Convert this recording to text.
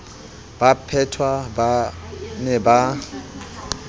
baphetwa baa ba ne ba